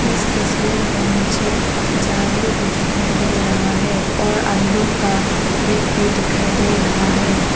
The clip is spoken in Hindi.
इस तस्वीर में मुझे झाड़ू भी दिखाई दे रहा है और अंडों का बेग भी दिखाई दे रहा है।